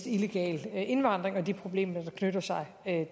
illegal indvandring og de problemer der knytter sig